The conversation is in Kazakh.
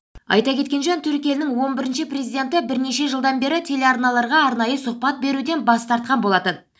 айта кеткен жөн түрік елінің он бірінші президенті бірнеше жылдан бері телеарналарға арнайы сұхбат беруден бас тартқан болатын